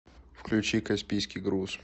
включи каспийский груз